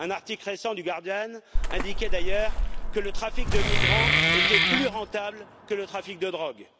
Un article récent dans le journal The Guardian indiquait d'ailleurs que le trafic de migrants était plus rentable que le trafic de drogue.